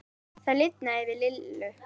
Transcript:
Það lifnaði yfir Lillu.